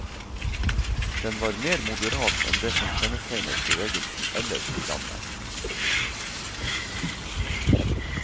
Den var mer moderat enn det som kjennetegnet bevegelsen ellers i landet.